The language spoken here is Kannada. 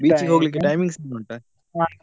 Beach ಹೋಗ್ಲಿಕ್ಕೆ timings ಏನಾದ್ರು ಉಂಟಾ?